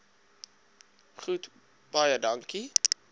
goed baie dankie